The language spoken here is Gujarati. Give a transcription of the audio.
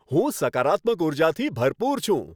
હું સકારાત્મક ઉર્જાથી ભરપૂર છું.